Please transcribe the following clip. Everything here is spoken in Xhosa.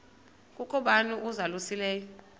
kukho bani uzalusileyo